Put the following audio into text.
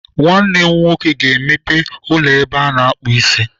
Nwanne m nwoke ga-emepe ụlọ ebe a na-akpụ isi.